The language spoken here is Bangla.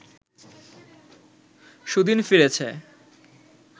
সুদিন ফিরেছে